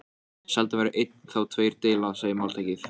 Sjaldan veldur einn þá tveir deila, segir máltækið.